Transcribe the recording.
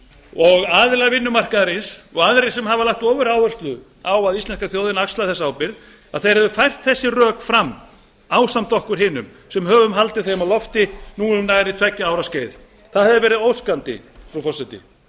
og aðilar vinnumarkaðarins og aðrir sem hafa lagt ofuráherslu á að íslenska þjóðin axlaði þessa ábyrgð að þeir hefðu fært þessi rök fram ásamt okkur hinum sem höfum haldið þeim á lofti nú um tveggja ára skeið það hefði verið óskandi frú forseti